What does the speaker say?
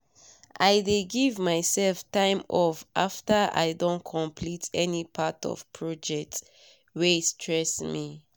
i dey give myself time off after i don complete any part of project wey stress me